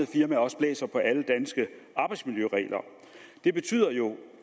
firmaer også blæser på alle danske arbejdsmiljøregler det betyder jo